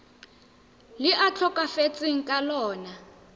le a tlhokafetseng ka lona